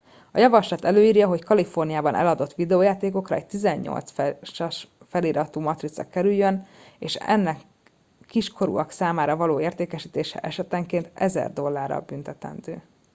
a javaslat előírja hogy a kaliforniában eladott videójátékokra egy 18 feliratú matrica kerüljön és ennek kiskorúak számára való értékesítése esetenként 1000 dollárral büntetendő